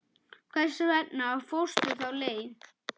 Hvers vegna fórstu þá leið?